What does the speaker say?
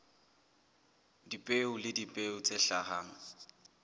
dipeo le dipeo tse hlahang